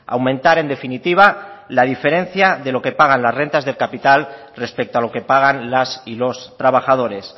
aumentar en definitiva la diferencia de lo que pagan las rentas del capital respecto a lo que pagan las y los trabajadores